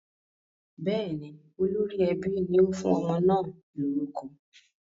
Bẹ́ẹ̀ ni, olórí ẹbí ni ó fún ọmọ náà lórúkọ.